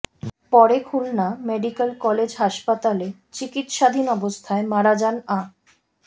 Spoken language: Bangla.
পরে খুলনা মেডিক্যাল কলেজ হাসপাতালে চিকিৎসাধীন অবস্থায় মারা যান আ